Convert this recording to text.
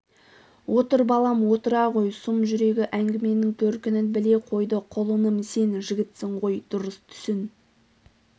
отыр балам отыра ғой сұм жүрегі әңгіменің төркінін біле қойды құлыным сен жігітсің ғой дұрыс түсін